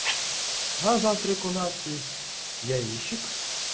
а завтрак у нас из яичек